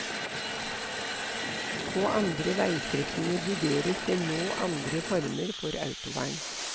På andre veistrekninger vurderes det nå andre former for autovern.